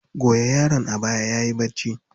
Goya yaron a baya yayi bacci.